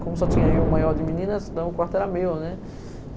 Como só tinha eu maior de meninas, então o quarto era meu, né?